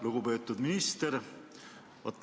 Lugupeetud minister!